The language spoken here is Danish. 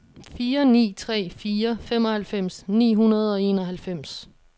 fire ni tre fire femoghalvfems ni hundrede og enoghalvfems